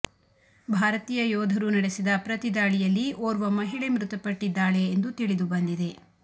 ಭಾರತೀಯ ಯೋಧರು ನಡೆಸಿದ ಪ್ರತಿದಾಳಿಯಲ್ಲಿ ಓರ್ವ ಮಹಿಳೆ ಮೃತಪಟ್ಟಿದ್ದಾಳೆ ಎಂದು ತಿಳಿದು ಬಂದಿದೆ